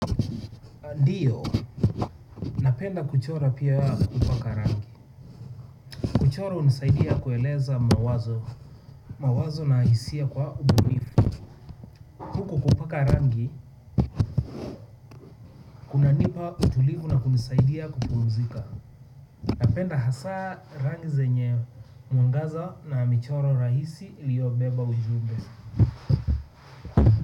Ndiyo napenda kuchora pia kupaka rangi kuchora hunisaidia kueleza mawazo mawazo na hisia kwa ubunifu huku kupaka rangi kunanipa utulivu na kunisaidia kupumzika napenda hasa rangi zenye mwangaza na michoro rahisi iliyobeba ujumbe.